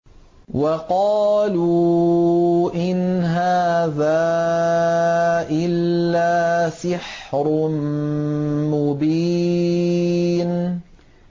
وَقَالُوا إِنْ هَٰذَا إِلَّا سِحْرٌ مُّبِينٌ